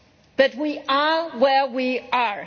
But we are where we are.